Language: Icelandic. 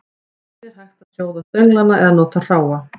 Einnig er hægt að sjóða stönglana eða nota hráa.